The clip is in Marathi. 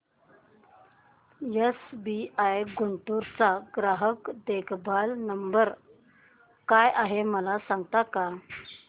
एसबीआय गुंटूर चा ग्राहक देखभाल नंबर काय आहे मला सांगता का